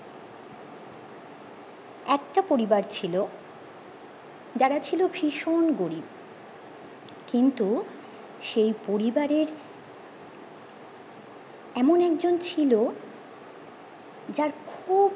একটা পরিবার ছিল যারা ছিল ভীষণ গরিব কিন্তু সেই পরিবারের এমন একজন ছিল যার খুব